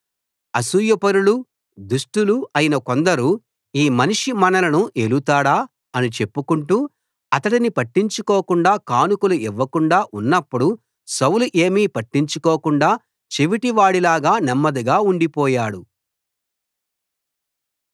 అసూయపరులూ దుష్టులూ అయిన కొందరు ఈ మనిషి మనలను ఏలుతాడా అని చెప్పుకొంటూ అతడిని పట్టించుకోకుండా కానుకలు ఇవ్వకుండా ఉన్నప్పుడు సౌలు ఏమీ పట్టించుకోకుండా చెవిటి వాడిలాగా నెమ్మదిగా ఉండిపోయాడు